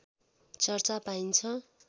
चर्चा पाइन्छ